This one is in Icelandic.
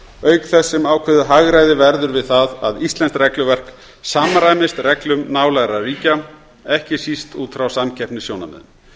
auk þess sem ákveðið hagræði verður við það að íslenskt regluverk samræmist reglum nálægra ríkja ekki síst út frá samkeppnissjónarmiðum